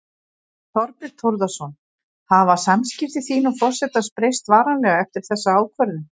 Þorbjörn Þórðarson: Hafa samskipti þín og forsetans breyst varanlega eftir þessa ákvörðun?